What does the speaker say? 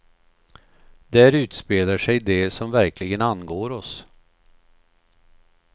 Där utspelar sig det som verkligen angår oss.